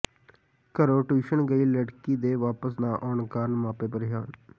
ਘਰੋਂ ਟਿਊਸ਼ਨ ਗਈ ਲੜਕੀ ਦੇ ਵਾਪਸ ਨਾ ਆਉਣ ਕਾਰਨ ਮਾਪੇ ਪ੍ਰੇਸ਼ਾਨ